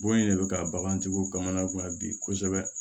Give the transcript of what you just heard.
Bon in de bɛ ka bagantigiw kamana gan bi kosɛbɛ